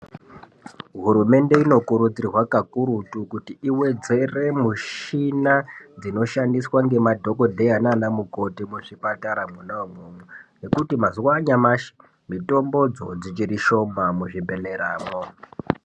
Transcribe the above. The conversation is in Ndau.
Hurumende ino kurudzirwa kakurutu kuti iwedzere mushina dzinoshandiswa ngema dhokodheya nana mukoti muzvipatara mwona imwomwo ngekuti mazuwa anyamashi mitombo dzo dzichiri shoma muzvi bhehlera mwo.